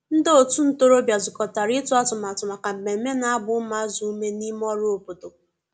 ndi otu ntorobia zukotara itu atụmatụ maka mmeme na agba umuazi ume n'ime ọrụ obodo.